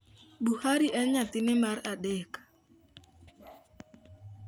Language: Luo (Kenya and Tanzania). Buhari en nyathine mar adek.